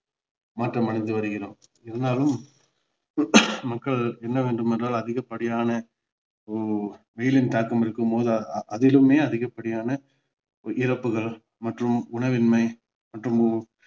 மாற்றம் அடைந்து வருகிறோம் இதனாலும் மக்கள் இன்னும் அதிக படியான வெயிலின் தாக்கம் இருக்கும் போது அதிலுமே அதிக படியான இறப்புகள் மற்றும் உணவின்மை மற்றும்